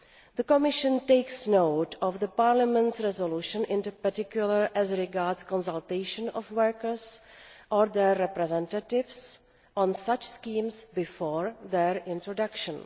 The Commission takes note of Parliament's resolution, in particular as regards consultation of workers or their representatives on such schemes before their introduction.